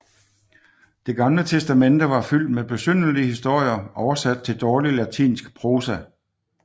Det gamle testamente var fyldt med besynderlige historier oversat til dårlig latinsk prosa